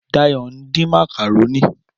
Dáyọ̀ ń din màkàrónì.